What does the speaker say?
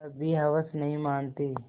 तब भी हवस नहीं मानती